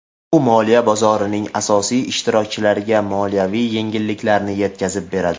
U moliya bozorining asosiy ishtirokchilariga moliyaviy yangiliklarni yetkazib beradi.